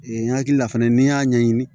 Ee n hakili la fɛnɛ n'i y'a ɲɛɲini